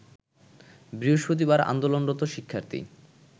বৃহস্পতিবার আন্দোলনরত শিক্ষার্থী